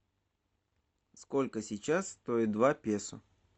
сколько сейчас стоит два песо